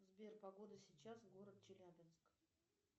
сбер погода сейчас город челябинск